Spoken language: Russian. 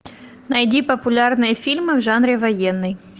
найди популярные фильмы в жанре военный